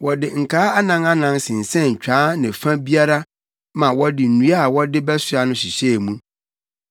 Wɔde nkaa anan anan sensɛn twaa ne fa biara ma wɔde nnua a wɔde bɛsoa no hyehyɛɛ mu.